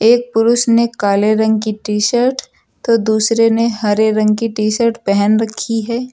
एक पुरुष ने काले रंग की टी शर्ट तो दूसरे ने हरे रंग की टी शर्ट पेहन रखी है।